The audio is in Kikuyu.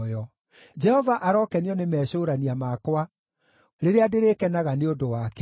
Jehova arokenio nĩ mecũũrania makwa, rĩrĩa ndĩrĩkenaga nĩ ũndũ wake.